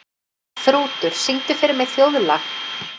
Þrútur, syngdu fyrir mig „Þjóðlag“.